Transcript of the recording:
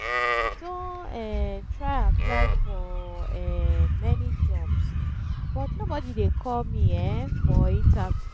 i don um try apply for um many jobs but nobody dey call me um for interview